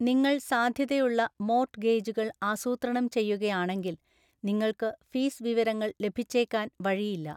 നിങ്ങൾ സാധ്യതയുള്ള മോർട്ട്ഗേജുകൾ ആസൂത്രണം ചെയ്യുകയാണെങ്കിൽ, നിങ്ങൾക്ക് ഫീസ് വിവരങ്ങൾ ലഭിച്ചേക്കാൻ വഴിയില്ല.